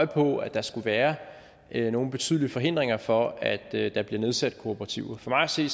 på at der skulle være nogle betydelige forhindringer for at der bliver nedsat kooperativer for mig at se